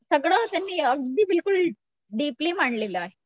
सगळं असं अगदी बिलकुल डीपली मांडलेलं आहे.